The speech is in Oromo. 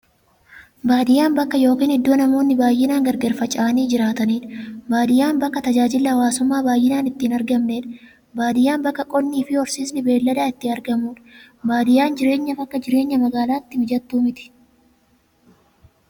Baadiyyaan bakka yookiin iddoo namoonni baay'inaan gargar faca'anii jiraataniidha. Baadiyyaan bakka tajaajilli hawwaasummaa baay'inaan itti hin argamneedha. Baadiyyaan bakka qonnifi horsiisni beeyladaa itti argamuudha. Baadiyyaan jireenyaaf akka jireenya magaalaa mijattuu miti.